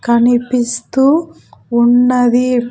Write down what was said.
కనిపిస్తూ ఉన్నది .